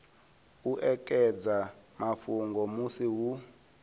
u ekedza mafhungo musi hu